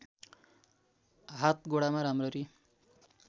हात गोडामा राम्ररी